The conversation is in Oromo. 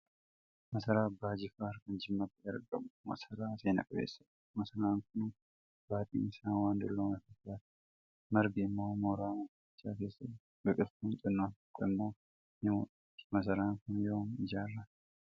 Masaraa Abbaa Jifaar kan jimmatti argamu, masaraa seenaqabeessadha. Masaraan kun baaxiin isaa waan dullome fakkaata. Margi immoo mooraa masarichaa keessa jira. Biqiltuu xinnoon tokko immo ni mul'atti. Masaraan kun Yoom ijaarame?